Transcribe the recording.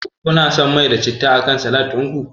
Kuna son mai da citta akan salat din ku?